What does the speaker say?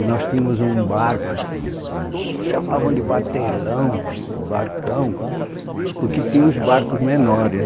E nós tínhamos um barco, eles chamavam de batelão, um barcão, porque tinham os barcos menores.